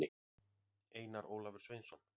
einar ólafur sveinsson